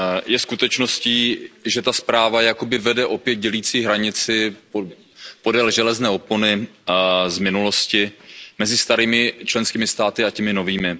Je skutečností, že ta zpráva jakoby vede opět dělící hranici podél železné opony z minulosti mezi starými členskými státy a těmi novými.